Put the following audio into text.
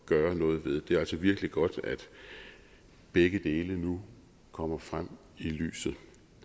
gøre noget ved det er altså virkelig godt at begge dele nu kommer frem i lyset